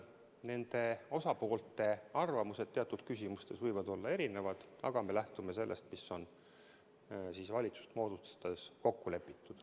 Nende osapoolte arvamused teatud küsimustes võivad olla erinevad, aga me lähtume sellest, mis on valitsust moodustades kokku lepitud.